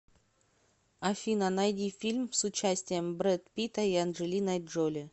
афина найди фильм с участием брэд питта и анджелиной джоли